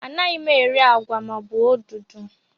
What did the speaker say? Anaghị m eri agwa maọbụ odudu